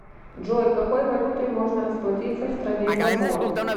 джой какой валютой можно расплатиться в стране габон